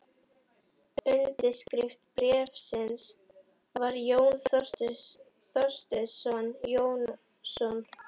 Undirskrift bréfsins var Jón Thorsteinsson Jónsson.